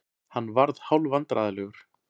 Hann varð hálfvandræðalegur.